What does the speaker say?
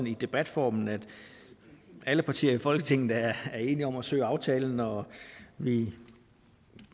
i debatformen alle partier i folketinget er enige om at søge aftalen og vi